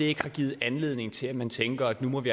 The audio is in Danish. ikke har givet anledning til at man tænker at nu må vi